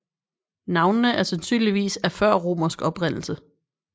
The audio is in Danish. Navnene er sandsynligvis af førromersk oprindelse